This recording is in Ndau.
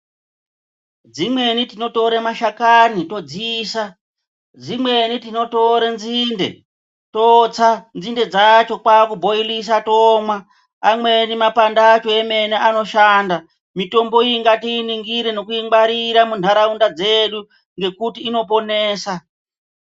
Dzimweni tinotora mashakani todziisa dzimweni tinora nzinde totsa nzinde dzacho kwakubhoirisa tomwa amweni mapande acho emene anoshanda, mitombo iyi ngatiiningire nekungwarira munharaunda dzedu ngekuti inoponesa.